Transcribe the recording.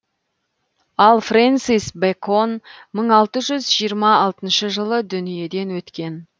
ал френсис бэкон мың алты жүз жиырма алтыншы жылы дүниеден өткен